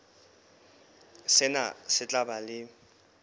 sena se tla ba le